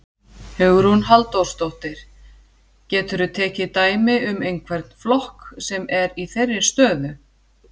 Hugrún Halldórsdóttir: Geturðu tekið dæmi um einhvern flokk sem er í þeirri stöðu?